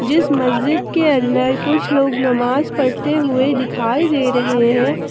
जिस मस्जिद के अंदर कुछ लोग नमाज पढ़ते हुए दिखाई दे रहे हैं।